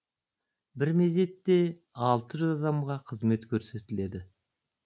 бір мезетте алты жүз адамға қызмет көрсетіледі